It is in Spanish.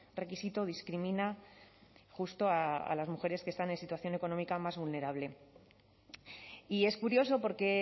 requisito discrimina justo a las mujeres que están en situación económica más vulnerable y es curioso porque